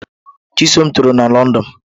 Chisom toro na Lọndọn.